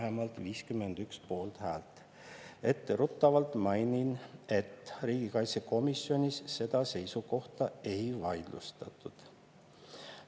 " Etteruttavalt mainin, et riigikaitsekomisjonis seda seisukohta ei vaidlustatud.